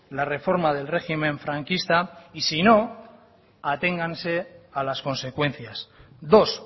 la reforma del régimen franquista y sino aténganse a las consecuencias dos